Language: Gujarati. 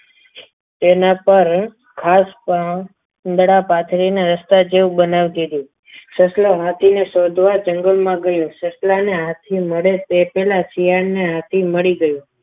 તેના પર ખાસ પણ ઉંદરડા પાથરીને રસ્તા જેવું બનાવી દીધું સસલો હાથીને શોધવા જંગલમાં ગયો સસલાને હાથી નડે તે પહેલા શિયાળ ને હાથી મલી ગયો.